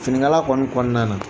Finiŋala kɔni kɔɔna na